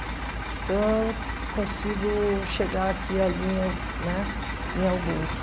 Então, consigo chegar aqui ali em né em alguns.